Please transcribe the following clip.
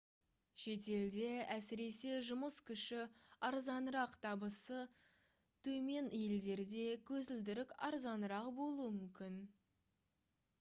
шетелде әсіресе жұмыс күші арзанырақ табысы төмен елдерде көзілдірік арзанырақ болуы мүмкін